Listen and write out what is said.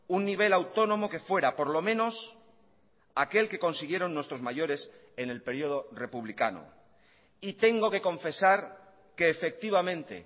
un nivel autónomo que fuera por lo menos aquel que consiguieron nuestros mayores en el período republicano y tengo que confesar que efectivamente